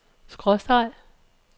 skråstreg